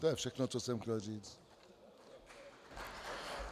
To je všechno, co jsem chtěl říct.